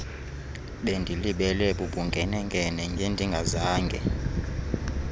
bendilibele bubunkenenkene ngendingazange